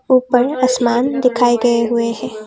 ऊपर आसमान दिखाए गए हुए हैं।